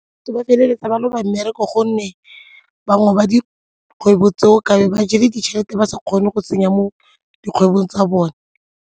Ba feleletsa ba loba mmereko gonne bangwe ba dikgwebo tseo ka be ba jele ditšhelete ba sa kgone go tsenya mo dikgwebong tsa bone.